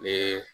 Ne